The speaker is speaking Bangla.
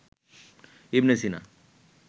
ইবনে সিনা